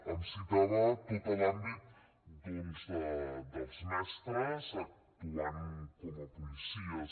em citava tot l’àmbit doncs dels mestres actuant com a policies